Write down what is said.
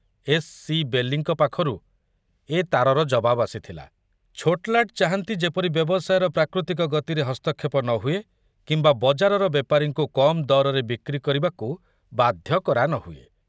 S. C. ବେଲିଙ୍କ ପାଖରୁ ଏ ତାରର ଜବାବ ଆସିଥିଲା, ଛୋଟଲାଟ ଚାହାନ୍ତି ଯେପରି ବ୍ୟବସାୟର ପ୍ରାକୃତିକ ଗତିରେ ହସ୍ତକ୍ଷେପ ନ ହୁଏ କିମ୍ବା ବଜାରର ବେପାରୀଙ୍କୁ କମ ଦରରେ ବିକ୍ରି କରିବାକୁ ବାଧ୍ୟ କରା ନହୁଏ।